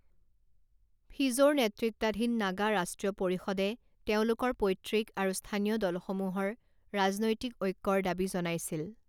ফিজোৰ নেতৃত্বাধীন নাগা ৰাষ্ট্ৰীয় পৰিষদে তেওঁলোকৰ পৈতৃক আৰু স্থানীয় দলসমূহৰ ৰাজনৈতিক ঐক্যৰ দাবী জনাইছিল।